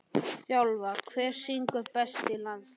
þjálfa Hver syngur best í landsliðinu?